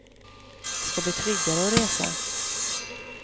Det ska bli tryggare att resa.